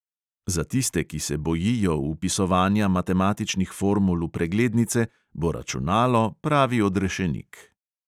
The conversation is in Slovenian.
Za tiste, ki se bojijo vpisovanja matematičnih formul v preglednice, bo računalo pravi odrešenik.